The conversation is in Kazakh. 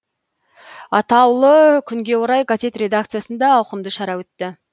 атаулы күнге орай газет редакциясында ауқымды шара өтті